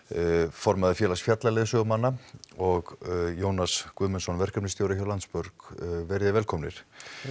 formaður félags fjallaleiðsögumanna og Jónas Guðmundsson verkefnisstjóri hjá Landsbjörg verið þið velkomnir